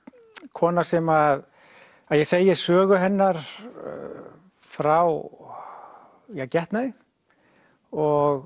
kona sem að ég segi sögu hennar frá getnaði og